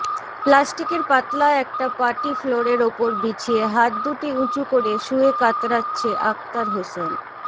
প্লাস্টিকের পাতলা একটা পাটি ফ্লোরের ওপর বিছিয়ে হাত দুটি উঁচু করে শুয়ে কাতরাচ্ছে অাকতার হোসেন